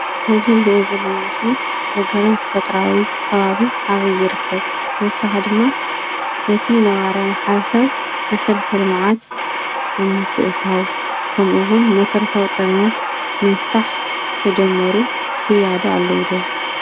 ኣብዚ እንሪኦ ዘለና ምስሊ ተፈጥራኣ ከባቢ ኣበይ ይርከብ? ብተወሳኪ ድማ እቲ ነባራይ ማሕበረ ሰብ መሰረተ ልምዓት ኣብ ምትእትታው ከምኡ እውን መሰረታዊ ፀገማት ንምፍታሕ ዝተጀመሩ ክያዶ ኣሎ ዶ?